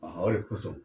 o de kosɔn